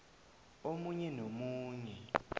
omunye nomunye